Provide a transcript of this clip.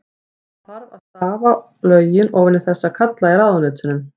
Það þarf að stafa lögin ofan í þessa kalla í ráðuneytunum.